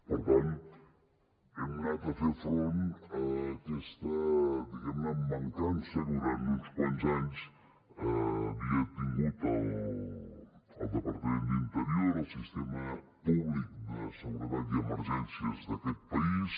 per tant hem anat a fer front a aquesta diguem ne mancança que durant uns quants anys havia tingut el departament d’interior el sistema públic de seguretat i emergències d’aquest país